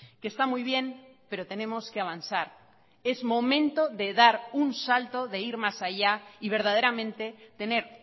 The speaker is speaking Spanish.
que está muy bien pero tenemos que avanzar es momento de dar un salto de ir más allá y verdaderamente tener